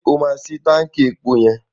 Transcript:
Ṣé o máa ṣi táǹkì epo yẹn?